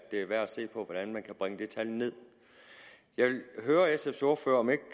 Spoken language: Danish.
er værd at se på hvordan man kan bringe det tal nederst jeg vil høre sfs ordfører om ikke